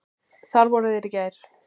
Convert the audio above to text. Þar voru þeir í gær.